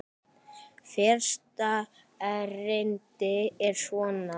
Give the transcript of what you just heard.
Fyrsta erindi er svona